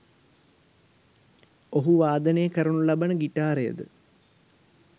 ඔහු වාදනය කරනු ලබන ගිටාරයද